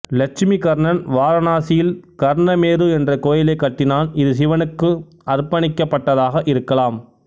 இலட்சுமிகர்ணன் வாரணாசியில் கர்ணமேரு என்ற கோயிலைக் கட்டினான் இது சிவனுக்கு அர்ப்பணிக்கப்பட்டதாக இருக்கலாம்